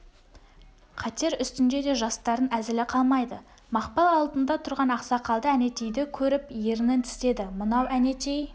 қатер үстінде де жастардың әзілі қалмайды мақпал алдында тұрған ақсақалды әнетейді көріп ерінін тістеді мынау әнетей